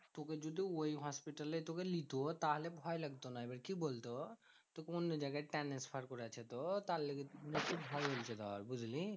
তোকে যদি ওই হসপিটালে তোকে নিতো তাহলে ভয় লাগতো না। এবার কি বলতো? তোকে অন্য জায়গায় transfer করেছে তো? তার লেগে ভয় হয়েছে ধর বুঝলি?